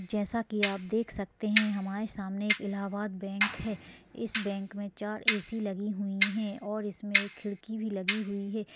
जैसा कि आप देख सकते हैं हमारे सामने एक इलाहाबाद बैंक है इस बैंक में चार ऐ.सी. लगी हुई है और इसमें एक खिड़की भी लगी हुई है |